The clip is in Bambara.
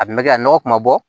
A kun bɛ kɛ a nɔgɔ kun bɛ bɔ